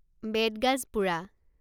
বেত গাজ পোৰা